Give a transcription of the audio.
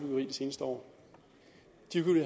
seneste år